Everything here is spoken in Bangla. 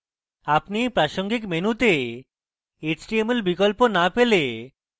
আপনি এই প্রাসঙ্গিক মেনুতে html বিকল্প না পেলে